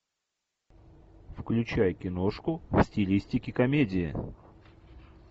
включай киношку в стилистике комедии